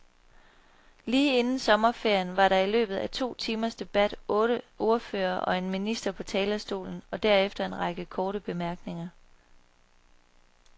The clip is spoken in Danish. Lige inden sommerferien var der i løbet af to timers debat otte ordførere og en minister på talerstolen og derefter en række korte bemærkninger.